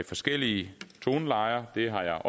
forskellige tonelejer har jeg